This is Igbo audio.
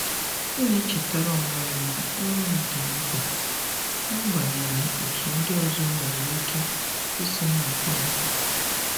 M na-echetara onwe m na ọrụ m dị mkpa, n'agbanyeghị otú ndị ọzọ nwere ike isi na-akpa àgwà.